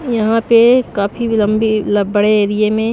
यहां पे काफी लंबी बड़े एरिया में--